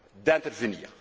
d'intervenir.